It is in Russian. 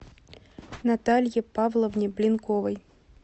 наталье павловне блинковой